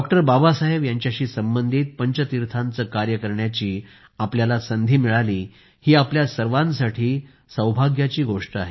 बाबासाहेब यांच्याशी संबंधित पंचतीर्थाचं कार्य करण्याची आपल्याला संधी मिळाली ही आपल्या सर्वांसाठी सौभाग्याची गोष्ट आहे